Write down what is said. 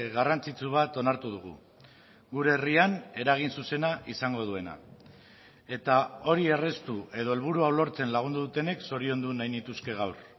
garrantzitsu bat onartu dugu gure herrian eragin zuzena izango duena eta hori erraztu edo helburua lortzen lagundu dutenek zoriondu nahi nituzke gaur